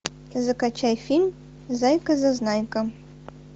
закачай фильм зайка зазнайка